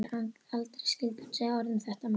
Aldrei skyldi hún segja orð um þetta meir.